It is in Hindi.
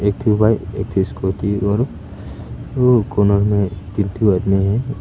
एक ठो बाइक एक ठो स्कूटी और कोना में है।